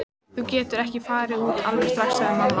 Þú getur ekki farið út alveg strax, sagði mamma.